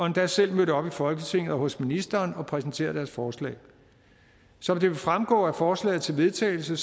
endda selv mødt op i folketinget og hos ministeren og har præsenteret deres forslag som det vil fremgå af forslaget til vedtagelse